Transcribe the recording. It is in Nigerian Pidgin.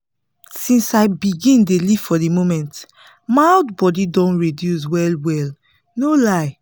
since i begin dey live for the moment my hot body don reduce well-well no lie!